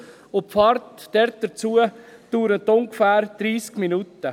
Die Fahrt dorthin dauert ungefähr 30 Minuten.